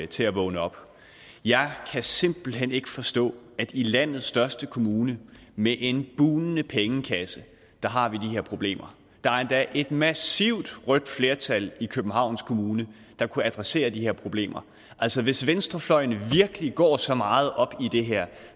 til at vågne op jeg kan simpelt hen ikke forstå at vi i landets største kommune med en bugnende pengekasse har de her problemer der er endda et massivt rødt flertal i københavns kommune der kunne adressere de her problemer altså hvis venstrefløjen virkelig går så meget op i det her